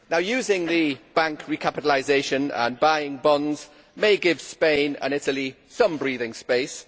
Using the bank recapitalisation and buying bonds may give Spain and Italy some breathing space.